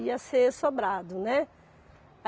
Ia ser sobrado, né?